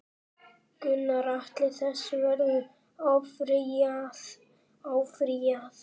Gunnar Atli: Þessu verður áfrýjað?